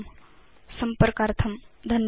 संपर्कार्थं धन्यवादा